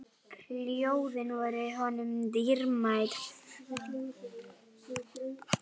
Ljóðin voru honum dýrmæt.